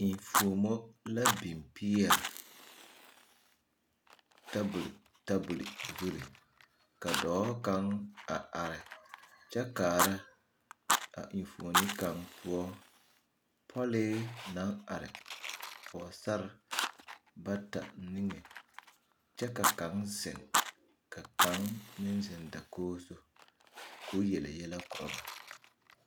Enfuomo la biŋ peɛle tabol tabol zuri ka dɔɔ kaŋ a are kyɛ kaara a enfuoni kaŋ poɔ pɔlee naŋ are pɔgesarre bata niŋe kyɛ ka kaŋ zeŋ ka kaŋ meŋ zeŋ dakogi zu k'o yele yɛlɛ korɔ ba.